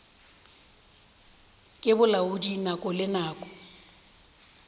ke bolaodi nako le nako